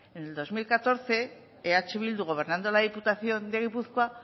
en el dos mil catorce eh bildu gobernando en la diputación de gipuzkoa